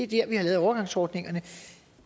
vi har lavet overgangsordningerne